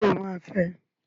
Sọ ma fẹ?